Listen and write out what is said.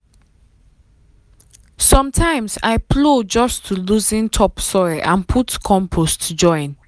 sometimes i plow just to loosen topsoil and put compost join.